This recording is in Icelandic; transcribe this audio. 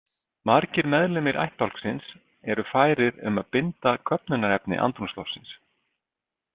Margir meðlimir ættbálksins eru færir um að binda köfnunarefni andrúmsloftsins.